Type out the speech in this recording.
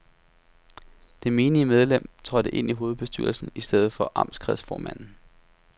Det menige medlem trådte ind i hovedbestyrelsen i stedet for amtskreds formanden.